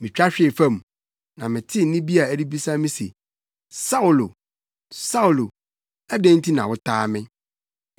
Mitwa hwee fam, na metee nne bi a ɛrebisa me se, ‘Saulo! Saulo! Adɛn nti na wotaa me?’